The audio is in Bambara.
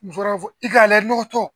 i ka layɛ nɔgɔtɔ